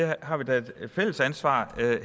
vi har da et fælles ansvar